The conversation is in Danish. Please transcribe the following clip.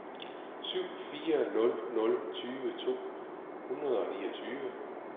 syv fire nul nul tyve to hundrede og niogtyve